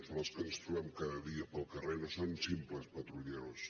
són els que ens trobem cada dia pel carrer no són simples patrulleros